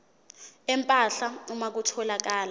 empahla uma kutholakala